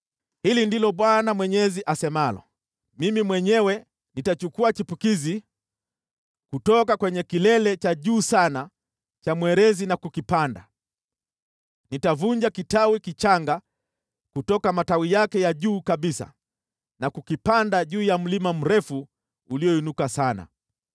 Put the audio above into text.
“ ‘Hili ndilo Bwana Mwenyezi asemalo: Mimi mwenyewe nitachukua chipukizi kutoka kwenye kilele cha juu sana cha mwerezi na kukipanda, nitavunja kitawi kichanga kutoka matawi yake ya juu kabisa na kukipanda juu ya mlima mrefu ulioinuka sana.